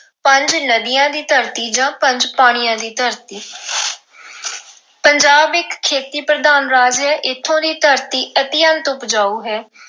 ਪੰਜ ਨਦੀਆਂ ਦੀ ਧਰਤੀ ਜਾਂ ਪੰਜ ਪਾਣੀਆਂ ਦੀ ਧਰਤੀ ਪੰਜਾਬ ਇੱਕ ਖੇਤੀ ਪ੍ਰਧਾਨ ਰਾਜ ਹੈ ਇੱਥੋਂ ਦੀ ਧਰਤੀ ਅਤਿਅੰਤ ਉਪਜਾਊ ਹੈ।